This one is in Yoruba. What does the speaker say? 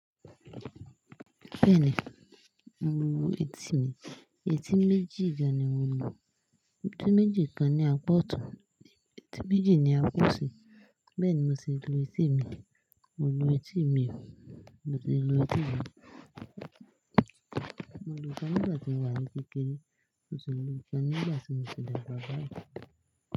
Bẹ́ẹ̀ni, mo ń lu etí mi. Etí méjì gan ni mo lu. Etí méjì kan ní a apá ọ̀tún, etí méjì ni a apá òsì. Bẹ́ẹ̀ ni mo ṣi lu etí mi. Mo lu etí mi o. Mo ti lu etí mi. Mo lu kán nígbà tí mo wà ní kékeré, mó sì lu ikán nígbà tí mo ti dàgbà báyì.